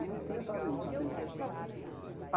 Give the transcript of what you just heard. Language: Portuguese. E não tinha achado aí até então.